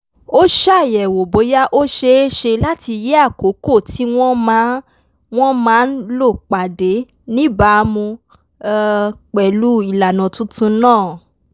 ó ṣàyẹ̀wò bóyá ó ṣeé ṣe láti yí àkókò tí wọ́n máa wọ́n máa lò padà níbàámu um pẹ̀lú ìlànà tuntun náà